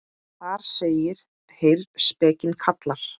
Þar segir: Heyr, spekin kallar.